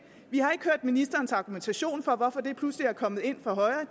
vi har ikke hørt ministerens argumentation for hvorfor det pludselig er kommet ind fra højre